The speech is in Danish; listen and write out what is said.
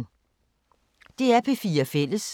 DR P4 Fælles